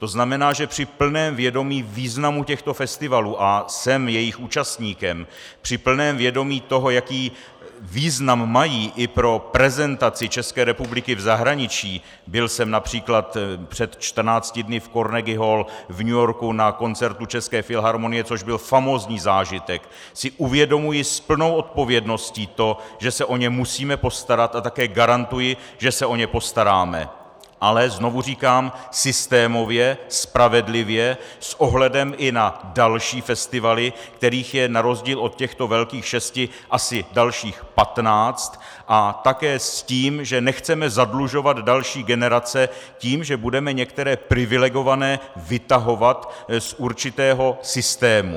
To znamená, že při plném vědomí významu těchto festivalů, a jsem jejich účastníkem, při plném vědomí toho, jaký význam mají i pro prezentaci České republiky v zahraničí, byl jsem například před 14 dny v Carnegie Hall v New Yorku na koncertu České filharmonie, což byl famózní zážitek, si uvědomuji s plnou odpovědností to, že se o ně musíme postarat, a také garantuji, že se o ně postaráme - ale znovu říkám systémově, spravedlivě, s ohledem i na další festivaly, kterých je na rozdíl od těchto velkých šesti asi dalších patnáct, a také s tím, že nechceme zadlužovat další generace tím, že budeme některé privilegované vytahovat z určitého systému.